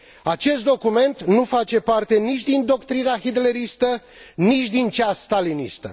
Acest document nu face parte nici din doctrina hitleristă, nici din cea stalinistă.